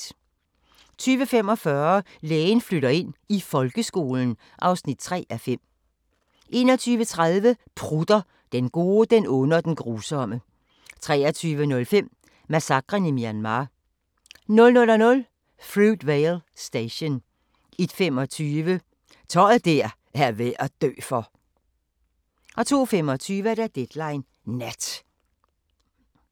20:45: Lægen flytter ind – i folkeskolen (3:5) 21:30: Prutter – Den gode, den onde og den grusomme 23:05: Massakren i Myanmar 00:00: Fruitvale Station 01:25: Tøj der er værd at dø for! 02:25: Deadline Nat